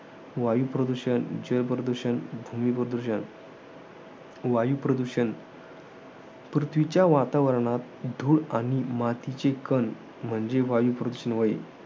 वायूप्रदूषण, जलप्रदूषण, भूमिप्रदूषण वायुप्रदूषण. पृथ्वीच्या वातावरणात, धूळ आणि मातीचे कण म्हणजे वायू प्रदूषण होय.